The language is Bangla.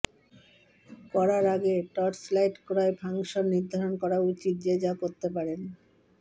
করার আগে টর্চলাইট ক্রয় ফাংশন নির্ধারণ করা উচিত যে যা করতে পারেন